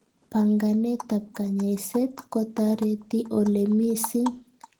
Panganeet ab kanyaiset kotareti oleoo misiing